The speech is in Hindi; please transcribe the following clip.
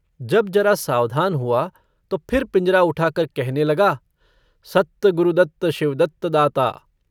जब जरा सावधान हुआ तो फिर पिंजरा उठाकर कहने लगा सत्त गुरुदत्त शिवदत्त दाता।